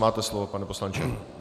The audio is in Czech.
Máte slovo, pane poslanče.